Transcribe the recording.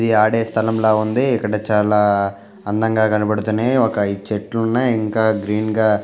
ఇది ఆడే స్థలంలా ఉంది ఇక్కడ చాలా అందంగా కనబడుతున్నాయి ఒక ఐదు చెట్లున్నాయి ఇంకా గ్రీన్గా --